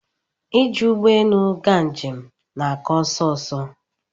ị ji ụgbọelu ga njem na aka ọsọ ọsọ